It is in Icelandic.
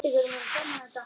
Sem koma.